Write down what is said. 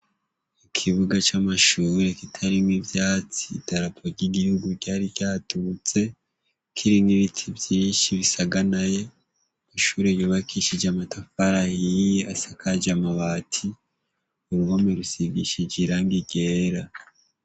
Mukibuga camashure kitarimwo ivyatsi idarapo ryigihugu ryari ryaduze kirimwo ibiti vyinshi bisaganaye ishure yubakishije amatafari ahiye asakaje amabati impome bisigishije irangi ryera